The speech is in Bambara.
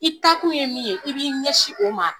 I taakun ye min ye i b'i ɲɛsin o ma